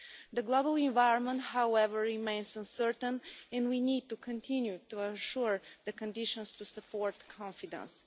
The global environment, however, remains uncertain, and we need to continue to ensure the conditions to support confidence.